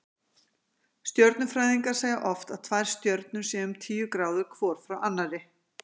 Stjörnufræðingar segja oft að tvær stjörnur séu um tíu gráður hvor frá annarri.